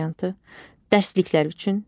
B variantı: dərsliklər üçün,